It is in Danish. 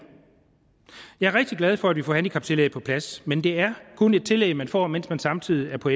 jeg er rigtig glad for at vi får handicaptillægget på plads men det er kun et tillæg man får mens man samtidig er på